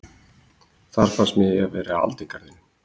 Þar fannst mér ég vera í aldingarðinum